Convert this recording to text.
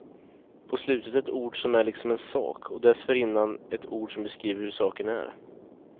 På slutet ett ord som är liksom en sak, och dessförinnan ett ord som beskriver hur saken är.